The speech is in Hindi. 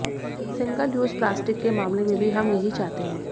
सिंगल यूज प्लास्टिक के मामले में भी हम यही चाहते हैं